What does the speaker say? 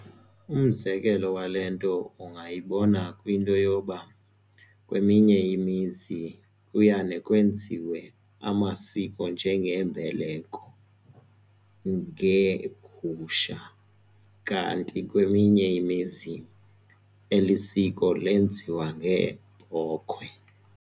Umzekelo wale nto ungayibona kwinto yoba kweminye imizi uyane kwenziwe amasiko njengeembeleko ngeegusha kanti kweminye imizi eli siko lenziwa ngeebhokhwe.